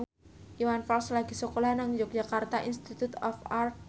Iwan Fals lagi sekolah nang Yogyakarta Institute of Art